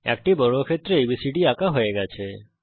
একটি বর্গক্ষেত্র এবিসিডি আঁকা হয়ে গেছে